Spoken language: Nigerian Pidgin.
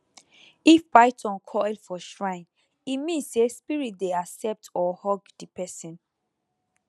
if python coil for shrine e mean say spirit dey accept or hug the person